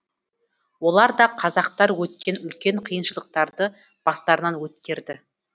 олар да қазақтар өткен үлкен қиыншылықтарды бастарынан өткерді